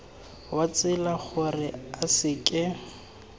wa tsela gore a seke